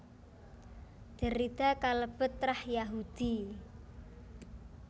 Derrida kalebet trah Yahudi